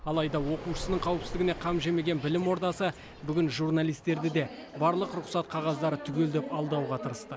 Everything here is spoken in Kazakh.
алайда оқушысының қауіпсіздігіне қам жемеген білім ордасы бүгін журналистерді де барлық рұқсат қағаздары түгел деп алдауға тырысты